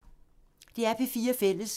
DR P4 Fælles